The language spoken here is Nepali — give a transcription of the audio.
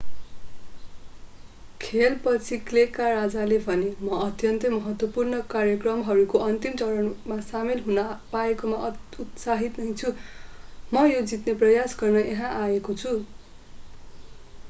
खेलपछि क्लेका राजाले भने म अत्यन्तै महत्त्वपूर्ण कार्यक्रमहरूको अन्तिम चरणमा सामेल हुन पाएकोमा उत्साहित नै छु म यो जित्ने प्रयास गर्न यहाँ आएको छु